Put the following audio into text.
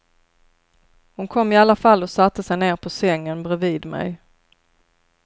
Hon kom i alla fall och satte sig ner på sängen bredvid mig.